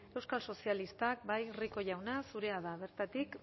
euskal sozialistak bai rico jauna zurea da bertatik